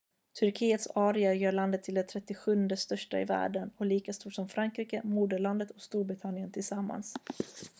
turkiets area gör landet till det 37:e största i världen och är lika stort som frankrike moderlandet och storbritannien tillsammans